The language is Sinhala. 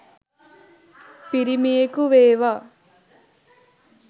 පිරිමියෙකු වේවා